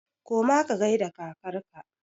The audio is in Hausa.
Koma ka gaida kakar ka!